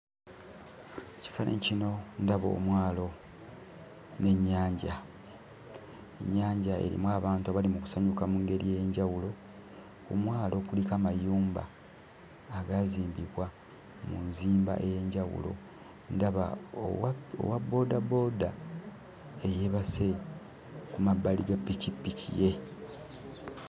Mu kifaananyi kino ndaba omwalo n'ennyanja. Ennyanja erimu abantu abali mu kusanyuka mu ngeri ey'enjawulo. Ku mwalo kuliko amayumba agaazimbibwa mu nzimba ey'enjawulo. Ndaba owa owabboodabooda eyeebase ku mabbali ga pikipiki ye.